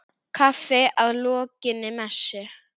Kaffi að lokinni messu.